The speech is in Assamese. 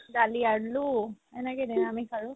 দালি আলু এনেকেদে নিৰামিষ আৰু